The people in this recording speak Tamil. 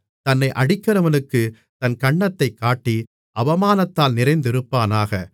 தன்னை அடிக்கிறவனுக்குத் தன் கன்னத்தைக் காட்டி அவமானத்தால் நிறைந்திருப்பானாக